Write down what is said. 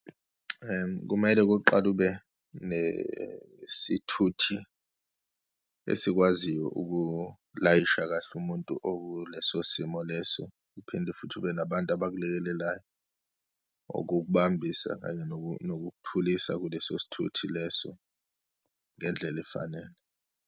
Kumele kuqale ube nesithuthi esikwaziyo ukulayisha kahle umuntu okuleso simo leso, uphinde futhi ube nabantu abakulekelelayo, ukukubambisa kanye nokukuthulisa kuleso sithuthi leso, ngendlela efanele.